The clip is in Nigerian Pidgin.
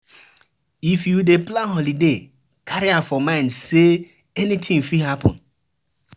If you dey plan holiday carry am for mind sey anything fit happen